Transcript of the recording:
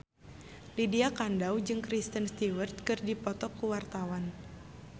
Lydia Kandou jeung Kristen Stewart keur dipoto ku wartawan